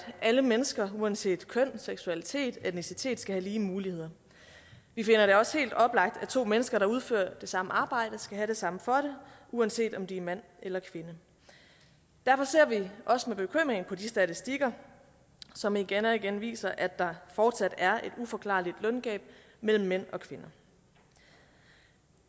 alle mennesker uanset køn seksualitet og etnicitet skal have lige muligheder vi finder det også helt oplagt at to mennesker der udfører det samme arbejde skal have det samme for det uanset om det er mand eller kvinde derfor ser vi også med bekymring på de statistikker som igen og igen viser at der fortsat er et uforklarligt løngab mellem mænd og kvinder